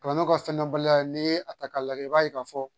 Kalan ka fɛn dɔn baliya ye n'i ye a ta k'a lajɛ i b'a ye k'a fɔ